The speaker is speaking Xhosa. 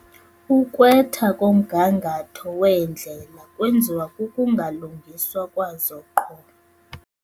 Ukwetha komgangatho weendlela kwenziwa kukungalungiswa kwazo qho.